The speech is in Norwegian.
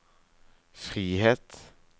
frihet